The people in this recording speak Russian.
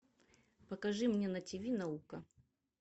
покажи мне на тиви наука